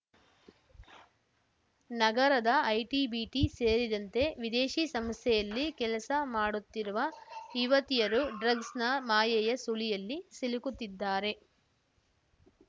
ನಗರದ ಐಟಿಬಿಟಿ ಸೇರಿದಂತೆ ವಿದೇಶಿ ಸಂಸ್ಥೆಯಲ್ಲಿ ಕೆಲಸ ಮಾಡುತ್ತಿರುವ ಯುವತಿಯರು ಡ್ರಗ್ಸ್‌ನ ಮಾಯೆಯ ಸುಳಿಯಲ್ಲಿ ಸಿಲುಕುತ್ತಿದ್ದಾರೆ